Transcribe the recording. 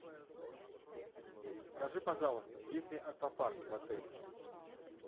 скажи пожалуйста есть ли аквапарк в отеле